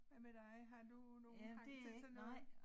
Hvad med dig har du nogen hang til sådan noget